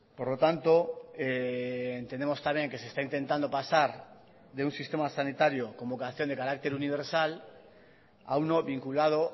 por lo tanto entendemos también que se está intentando pasar de un sistema sanitario con vocación de carácter universal a uno vinculado